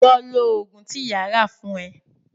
Lọ lò òògùn tí ìyá rà fún ẹ.